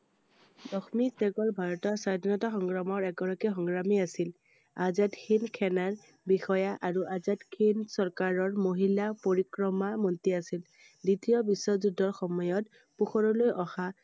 লক্ষ্মী চেহ্গাল ভাৰতৰ স্বাধীনতা সংগ্ৰামৰ এগৰাকী সংগ্ৰামী আছিল I আজাদ হিন্দ সেনাৰ বিষয়া আৰু আজাদ হিন্দ চৰকাৰৰ মহিলা পৰিক্ৰমা মন্ত্ৰী আছিল I দ্বিতীয় বিশ্বযুদ্ধৰ সময়ত পোহৰলৈ অহা